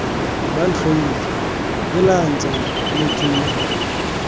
bantlhoile heelang tsala motho yo